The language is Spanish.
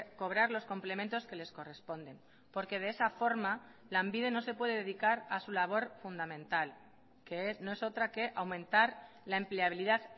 cobrar los complementos que les corresponden porque de esa forma lanbide no se puede dedicar a su labor fundamental que no es otra que aumentar la empleabilidad